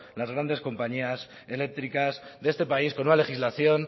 las grandes compañías eléctricas de este país con una legislación